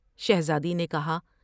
شہزادی نے کہا ۔